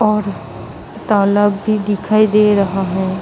और तालाब भी दिखाई दे रहा है।